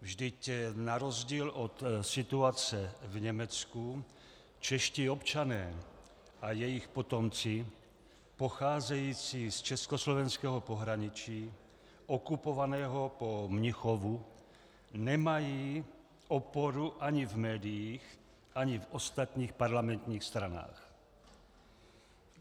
Vždyť na rozdíl od situace v Německu čeští občané a jejich potomci pocházející z československého pohraničí okupovaného po Mnichovu nemají oporu ani v médiích, ani v ostatních parlamentních stranách.